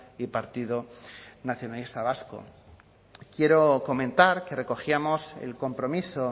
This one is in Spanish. y partido nacionalista vasco quiero comentar que recogíamos el compromiso